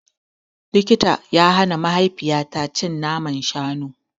Likita ya hana mahaifiyata cin naman shanu.